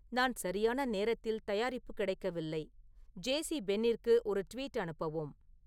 நான் சரியான நேரத்தில் தயாரிப்பு கிடைக்கவில்லை ஜே.சி.பென்னிக்கு ஒரு ட்வீட் அனுப்பவும்